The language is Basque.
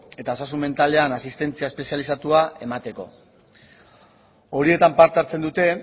eta osasun mentalean asistentzia espezializatua emateko horietan parte hartzen dute